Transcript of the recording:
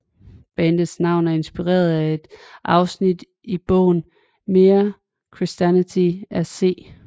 Bandets navn er inspireret af et afsnit i bogen Mere Christianity af C